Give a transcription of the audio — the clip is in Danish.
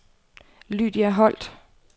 Lydia Holt